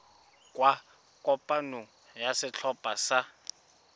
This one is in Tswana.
kwa kopanong ya setlhopha sa